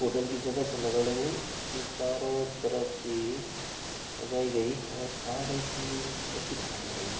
होटल की जगह छ लगण लगीं जू चारों तरफ से सजाई गई और खार रंग की निच पट्टी छ लगण लगीं|